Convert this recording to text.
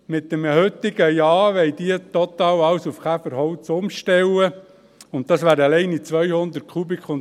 Mit einem heutigen Ja wollen sie total alles auf Käferholz umstellen, und das wären allein 200 Kubikmeter.